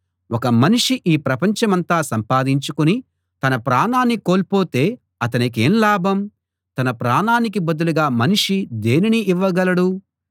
ఒక మనిషి ఈ ప్రపంచమంతా సంపాదించుకుని తన ప్రాణాన్ని కోల్పోతే అతనికేం లాభం తన ప్రాణానికి బదులుగా మనిషి దేనిని ఇవ్వగలడు